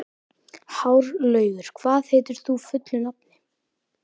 Hárlaugur, hvað heitir þú fullu nafni?